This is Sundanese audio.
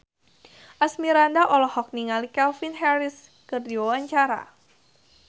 Asmirandah olohok ningali Calvin Harris keur diwawancara